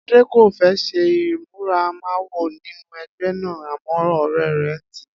Adé kò fé̩ s̩e ìmúmawo sínú e̩gbé̩ náà àmó̩ ò̩ré̩ rè̩ ń tìí